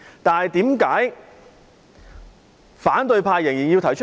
但是，為何反對派仍然要提出？